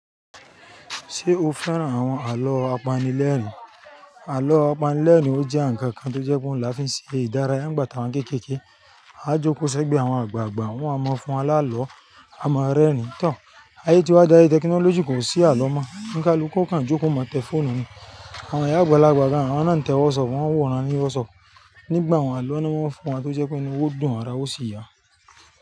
Ṣé o fẹ́ràn àwọn àlọ́ apanilẹ́ẹ̀rín? Àlọ́ apanilẹ́ẹ̀rín ọ jẹ́ ǹkan kan tó jẹ́ pé ọún la fi ń ṣe ìdárayá, ń gbà tà wa n kékèèké, á joko ṣegbé àwọn àgbààgbà, wọ́n a máa fún wa lá lọ, a máa rẹ́rìn ín tán. Ayé tí wa dá yé technology kò sí àlọ́ mọ́, eni kaluku o kan jókòó, o má tẹ fóònù ni. Àwọn ìyá àgbàlagbà gan àwọn náà ń tẹ WhatsApp, wọ́n ń wòran ní WhatsApp. Nígbà un, àlọ́ ni wọ́n máa ń fún wa tó jẹ́ pé inu wa ó dùn, ara ó sì yá.